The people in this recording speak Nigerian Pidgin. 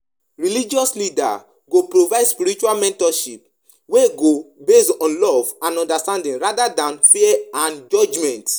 Wetin you know about di impact of religious leaders' public moral guidance on di society?